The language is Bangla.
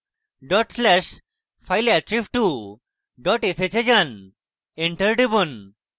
dot slash fileattrib2 dot sh এ যান enter টিপুন